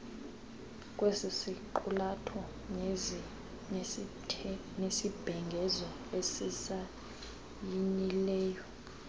kwesisiqulatho nesibhengezo asisayinileyo